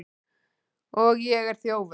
Og ég er þjófur.